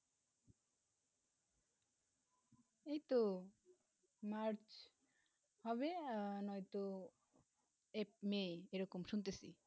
এইতো March হবে না তো May এইরকম শুনতেছি